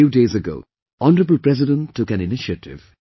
A few days ago, Hon'ble President took an initiative